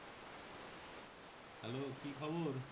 Hello কি খবর?